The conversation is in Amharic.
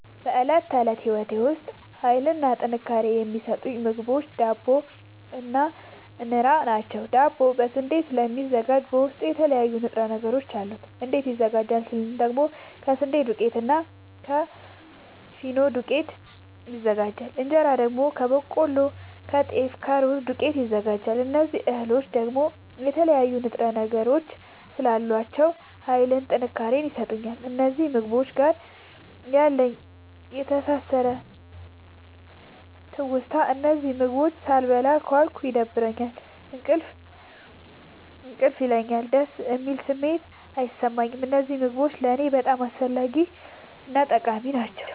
በእለት ተለት ህይወቴ ዉስጥ ሀይልንና ጥንካሬን የሚሠጡኝ ምግቦች ዳቦ እና እን ራ ናቸዉ። ዳቦ ከስንዴ ስለሚዘጋጂ በዉስጡ የተለያዩ ንጥረ ነገሮች አሉት። እንዴት ይዘጋጃል ስንል ደግሞ ከስንዴ ዱቄትና እና ከፊኖ ዱቄት ይዘጋጃል። እንጀራ ደግሞ ከበቆሎ ከጤፍ ከሩዝ ዱቄት ይዘጋጃል። እዚህ እህሎይ ደግሞ የተለያዩ ንጥረ ነገሮች ስላሏቸዉ ሀይልንና ጥንካሬን ይሠጡኛል። ከእነዚህ ምግቦች ጋር ያለኝ የተሣሠረ ትዉስታ እነዚህን ምግቦች ሣልበላ ከዋልኩ ይደብረኛል እንቅልፍ እንቅልፍ ይለኛል። ደስ የሚል ስሜት አይሠማኝም። እነዚህ ምግቦች ለኔ በጣም አስፈላጊናጠቃሚ ናቸዉ።